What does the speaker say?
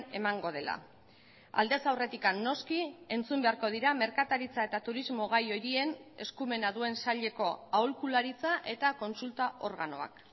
emango dela aldez aurretik noski entzun beharko dira merkataritza eta turismo gai horien eskumena duen saileko aholkularitza eta kontsulta organoak